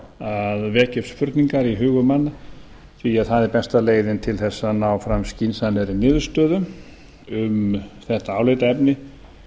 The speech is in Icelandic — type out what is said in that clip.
að vekja upp spurningar í hugum manna því að það er besta leiðin til þess að ná fram skynsamlegri niðurstöðu um þetta álitaefni